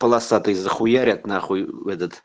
полосатый за хуярят на хуй этот